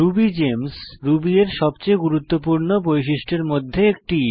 Ruby Games Ruby এর সবচেয়ে গুরুত্বপূর্ণ বৈশিষ্ট্য এর মধ্যে একটি